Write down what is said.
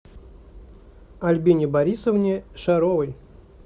альбине борисовне шаровой